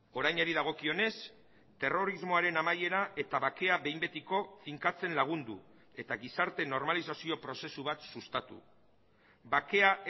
orainari dagokionez terrorismoaren amaiera eta bakea behin betiko finkatzen lagundu eta gizarte normalizazio prozesu bat sustatu bakea